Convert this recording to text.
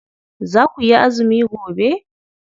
Za kuyi azumi gobe?